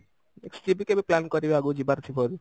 next ରେ ବି କେବେ plan କରିବା ଆଗକୁ ଯିବାର ଥିବ ଯଦି